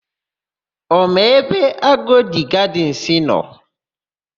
Ọ ma ebe Agodi Gadịnsị nọ?